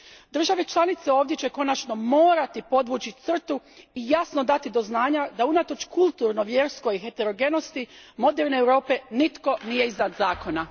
Države članice ovdje će konačno morati podvući crtu i jasno dati do znanja da unatoč kulturnoj i vjerskoj heterogenosti moderne Europe nitko nije iznad zakona.